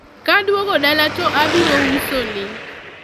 kadwogo dala to abiro uso ni